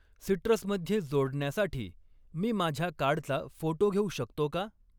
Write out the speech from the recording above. Citrus मध्ये जोडण्यासाठी मी माझ्या कार्डचा फोटो घेऊ शकतो का?